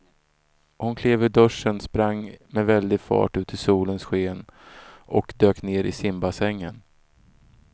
Hon klev ur duschen, sprang med väldig fart ut i solens sken och dök ner i simbassängen.